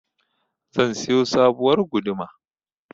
zan siyo sabuwar guduma